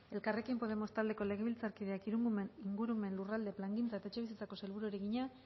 elkarrekin podemos taldeko legebiltzarkideak ingurumen lurralde plangintza eta etxebizitzako sailburuari egina